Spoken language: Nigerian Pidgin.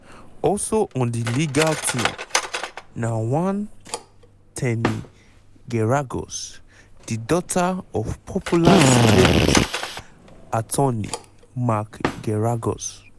also on di legal team na one ten y geragos di daughter of popular celebrity attorney mark geragos.